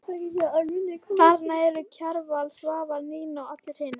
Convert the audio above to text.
Þarna eru Kjarval, Svavar, Nína og allir hinir.